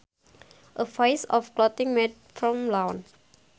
A piece of clothing made from lawn